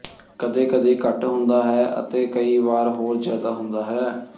ਕਦੇ ਕਦੇ ਘੱਟ ਹੁੰਦਾ ਹੈ ਅਤੇ ਕਈ ਵਾਰ ਹੋਰ ਜਿਆਦਾ ਹੁੰਦਾ ਹੈ